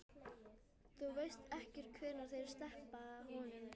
Þú veist ekkert hvenær þeir sleppa honum?